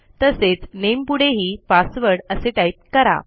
तसेच nameपुढेही पासवर्ड असे टाईप करा